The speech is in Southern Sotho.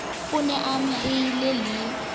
o ne a amahanngwe le